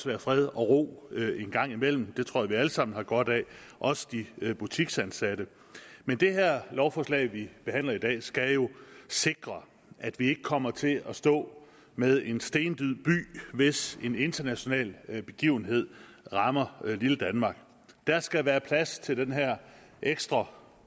være fred og ro en gang imellem det tror jeg vi alle sammen har godt af også de butiksansatte men det her lovforslag vi behandler i dag skal jo sikre at vi ikke kommer til at stå med en stendød by hvis en international begivenhed rammer lille danmark der skal være plads til den her ekstra